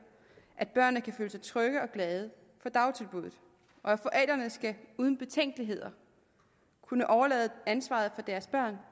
at børnene kan føle sig trygge og glade for dagtilbuddet og forældrene skal uden betænkeligheder kunne overlade ansvaret for deres børn